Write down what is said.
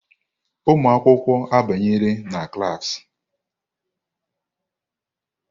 Ụmụ akwụkwọ abanyela na klas.